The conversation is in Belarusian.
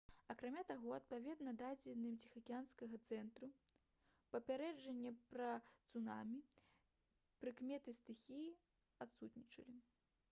акрамя таго адпаведна дадзеным ціхаакіянскага цэнтру папярэджання пра цунамі прыкметы стыхіі адсутнічалі